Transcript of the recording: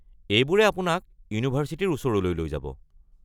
এইবোৰে আপোনাক ইউনিভাৰ্ছিটিৰ ওচৰলৈ লৈ যাব।